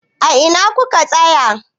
A ina ku ka tsaya?